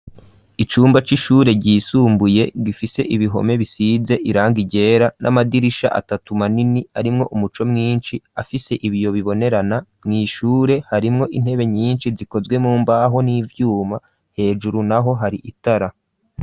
Icumba c'ishure ryisumbuye gifise ibihome bisize iranga ryera n'amadirisha atatu manini arimwo umuco mwinshi afise ibiyo bibonerana mw'ishure harimwo intebe nyinshi zikozwe mu mbaho n'ivyuma hejuru naho hari itara.